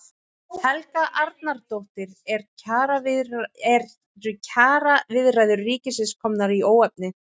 Helga Arnardóttir: Eru kjaraviðræður ríkisins komnar í óefni?